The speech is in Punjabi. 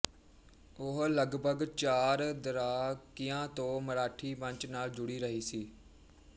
ਉਹ ਲਗਭਗ ਚਾਰ ਦਰਾਕਿਆਂ ਤੋਂ ਮਰਾਠੀ ਮੰਚ ਨਾਲ ਜੁਡ਼ੀ ਰਹੀ ਸੀ